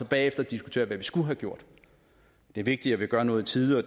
bagefter diskuterer hvad vi skulle have gjort det er vigtigt at vi gør noget i tide